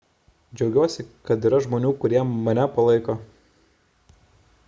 džiaugiuosi kad yra žmonių kurie mane palaiko